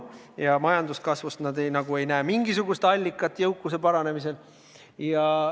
Ja majanduskasvus nad ei näe mingisugust jõukuse kasvu allikat.